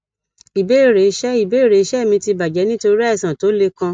ìbéèrè iṣẹ ìbéèrè iṣẹ mi ti bajẹ nitori aìsàn tó le kan